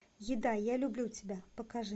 еда я люблю тебя покажи